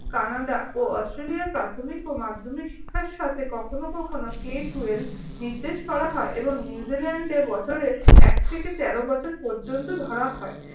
Canada ও অস্ট্রেলিয়ায় প্রাথমিক ও মাধ্যমিক শিক্ষার সাথে কখনো কখনো Ctweleve নির্দেশ করা হয়। এবং নিউজিল্যান্ডে বছরে এক থেকে তের বছর পর্যন্ত ধরা হয়।